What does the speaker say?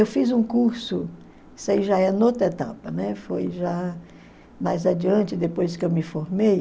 Eu fiz um curso, isso aí já etapa, né, foi já mais adiante, depois que eu me formei.